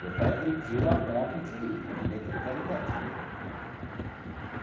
Meu pai agrediu a ponto de de meter o canivete nele.